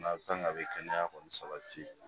Maa kan ka a bɛ kɛnɛya kɔni sabati